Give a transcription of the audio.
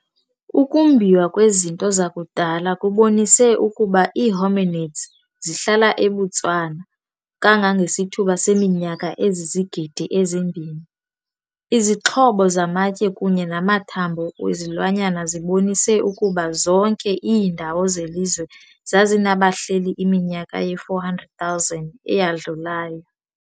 Ukumbiwa kwezinto zakudala kubonise ukuba ii-hominids zihlala eBotswana kangangesithuba seminyaka ezizigidi ezimbini. Izixhobo zamatye kunye namathanbo wezilwanyana zibonise ukuba zonke iindawo zelizwe zazinabahleli iminyaka ye-400,000 eyadlulayo.